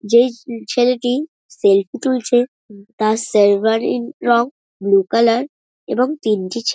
যেই উম ছেলেটি সেলফি তুলছে তার শেরবানির রঙ ব্লু কালার এবং তিনটি ছ --